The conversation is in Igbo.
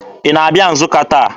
Ị na-abịa Nsụka taa?